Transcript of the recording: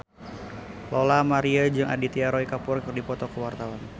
Lola Amaria jeung Aditya Roy Kapoor keur dipoto ku wartawan